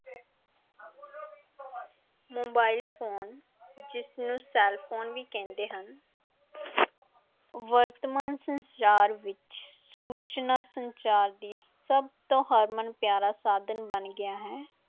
Mobile phone ਜਿਸਨੂੰ cellphone ਵੀ ਕਹਿੰਦੇ ਹਨ ਵਰਤਮਾਨ ਸੰਚਾਰ ਵਿੱਚ ਸੂਚਨਾ ਸੰਚਾਰ ਦੀ ਸਭ ਤੋਂ ਹਰਮਨ ਪਿਆਰਾ ਸਾਧਨ ਬਣ ਗਿਆ ਹੈ।